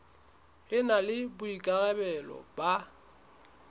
e na le boikarabelo ba